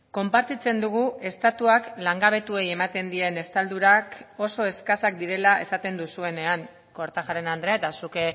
konpartitzen dugu estatuak langabetuei ematen dien estaldurak oso eskasak direla esaten duzuenean kortajarena andrea eta zuk